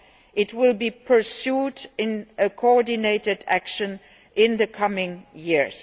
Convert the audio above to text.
It will be pursued in a coordinated action in the coming years.